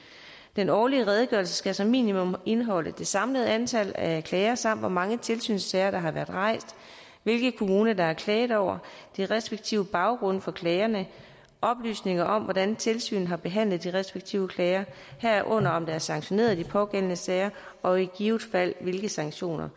den årlige redegørelse skal som minimum indeholde det samlede antal af klager samt hvor mange tilsynssager der har været rejst hvilke kommuner der er klaget over de respektive baggrunde for klagerne oplysninger om hvordan tilsynet har behandlet de respektive klager herunder om der er sanktioneret i de pågældende sager og i givet fald hvilke sanktioner